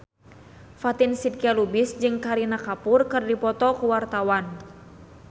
Fatin Shidqia Lubis jeung Kareena Kapoor keur dipoto ku wartawan